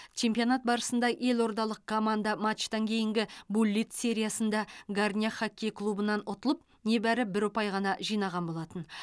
чемпионат барысында елордалық команда матчтан кейінгі буллит сериясында горняк хокей клубынан ұтылып небәрі бір ұпай ғана жинаған болатын